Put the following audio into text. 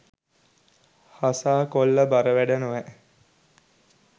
හසා කොල්ල බර වැඩ නොවැ